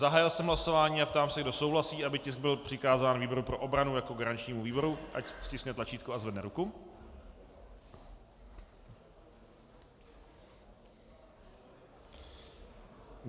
Zahájil jsem hlasování a ptám se, kdo souhlasí, aby tisk byl přikázán výboru pro obranu jako garančnímu výboru, ať stiskne tlačítko a zvedne ruku.